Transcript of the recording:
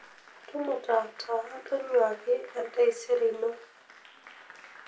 Tumuta taa tonyuaki entaisere ino.